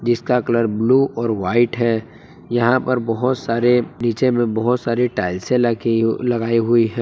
इसका colour blue और white है यहां पर बहुत सारे नीचे में बहुत सारे टाइल्से लगी हु लगाई हुई है।